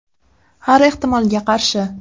Har ehtimolga qarshi.